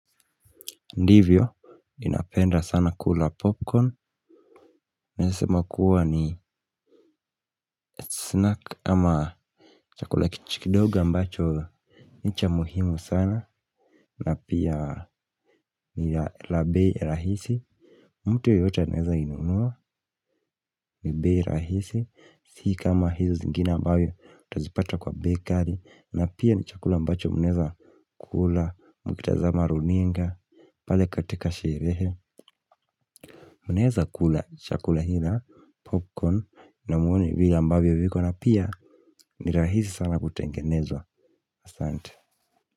Ndivyo, ninapenda sana kula popcorn, naeza sema kuwa ni snack ama chakula kidogo ambacho ni cha muhimu sana. Na pia ni la bei rahisi, mtu yeyote anaeza inunua ni bei rahisi, si kama hizi zingine ambazo utazipata kwa bakery. Na pia ni chakula ambacho mnaeza kula mkitazama runinga pale katika sherehe. Mnaeza kula chakula hii na popcorn na muone vile ambavyo viko na pia ni rahisi sana kutengenezwa. Ahsante.